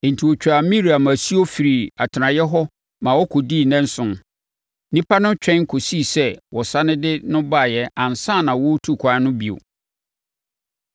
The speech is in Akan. Enti wɔtwaa Miriam asuo firii atenaeɛ hɔ ma ɔkɔdii nnanson. Nnipa no twɛn kɔsii sɛ wɔsane de no baeɛ ansa na wɔretu kwan no bio.